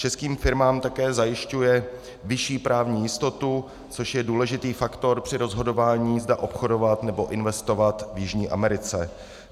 Českým firmám také zajišťuje vyšší právní jistotu, což je důležitý faktor při rozhodování, zda obchodovat nebo investovat v Jižní Americe.